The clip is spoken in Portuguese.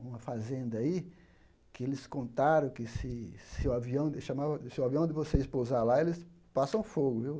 uma fazenda aí, que eles contaram que se se o avião se o avião de vocês pousar lá, eles passam fogo, viu?